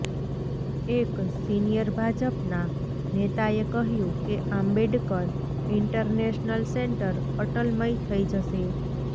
એક સિનિયર ભાજપના નેતાએ કહ્યું કે આંબેડકર ઈન્ટરનેશનલ સેન્ટર અટલમય થઈ જશે